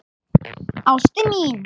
Ástin mín